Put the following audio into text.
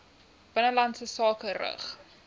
binnelandse sake rig